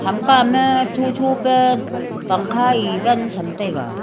hamka ma chu chu pa pangkha ei van chamtaiga.